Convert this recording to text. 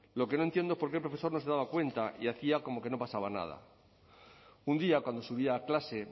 lo que no entiendo es por qué el profesor no se daba cuenta y hacía como que no pasaba nada un día cuando subía a clase